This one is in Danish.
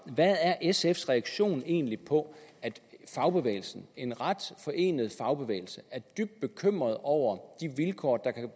hvad er sfs reaktion egentlig på at fagbevægelsen en ret forenet fagbevægelse er dybt bekymret over de vilkår der kan